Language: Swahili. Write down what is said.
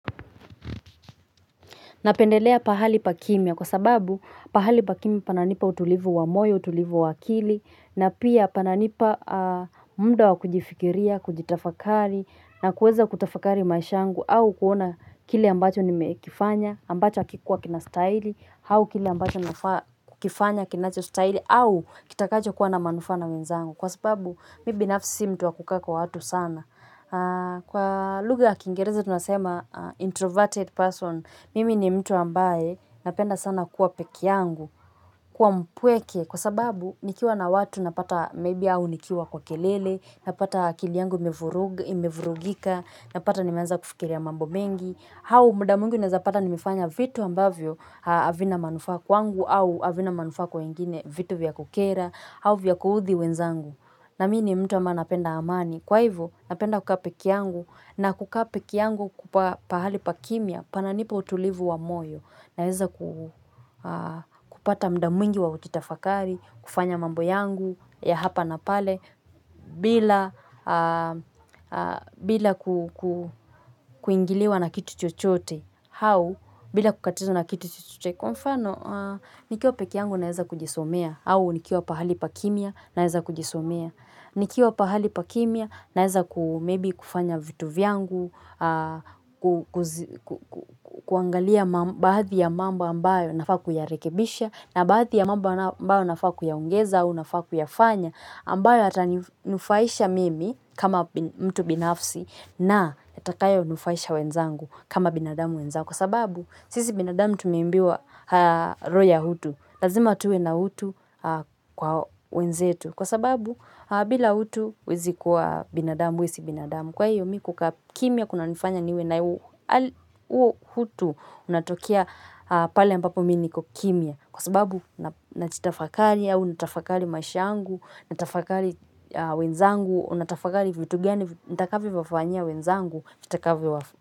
Napendelea pahali pa kimya kwa sababu pahali pa kimya pananipa utulivu wa moyo, utulivu wa akili na pia pananipa muda wa kujifikiria, kujitafakari na kueza kutafakari maisha yangu au kuona kile ambacho nimekifanya, ambacho hakikuwa kinastahili, au kile ambacho nakifanya kinachostahili au kitakachokuwa na manufaa na wenzangu. Kwa sababu maybe nafsi mtu wa kukaa kwa watu sana. Kwa lugha ya Kiingereza tunasema introverted person. Mimi ni mtu ambaye napenda sana kuwa peke yangu kuwa mpweke kwa sababu nikiwa na watu napata maybe au nikiwa kwa kelele. Napata akili yangu imevurugika. Napata nimeanza kufikiria mambo mengi au muda mwingi unaeza pata nimefanya vitu ambavyo havina manufaa kwangu au havina manufaa kwa wengine vitu vya kukera au vya kuudhi wenzangu na mimi ni mtu ambaye napenda amani kwa hivo napenda kukaa pekeangu na kukaa pekeangu pahali pa kimya pananipa utulivu wa moyo kupata muda mwingi wa kutafakari. Kufanya mambo yangu ya hapa na pale bila bila kuingiliwa na kitu chochote au bila kukatizwa na kitu chochote. Kwa mfano nikiwa pekeangu naeza kujisomea au nikiwa pahali pa kimya naeza kujisomea. Nikiwa pahali pa kimya naeza kufanya vitu vyangu. Kuangalia baadhi ya mambo ambayo nafaa kuyarekebisha na baadhi ya mambo ambayo nafaa kuyaongeza au nafaa kuyafanya ambayo yataninufaisha mimi kama mtu binafsi na yatakayonufaisha wenzangu kama binadamu wenzangu. Kwa sababu sisi binadamu tumeimbiwa roho ya utu. Lazima tuwe na utu kwa wenzetu kwa sababu bila utu huwezi kuwa binadamu wewe si binadamu kwa hiyo mimi kukaa kimya kunanifanya niwe na huo utu unatokea pale ambapo mimi niko kimya kwa sababu najitafakari au nitafakari maisha yangu natafakari wenzangu natafakari vitu gani nitakavyovafanyia wenzangu vitakavyowa.